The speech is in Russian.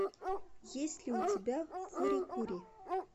есть ли у тебя фури кури